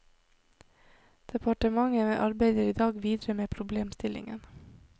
Departementet arbeider i dag videre med problemstillingen.